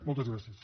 moltes gràcies